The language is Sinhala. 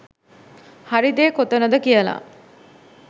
හරි දේ කොතනද කියලා.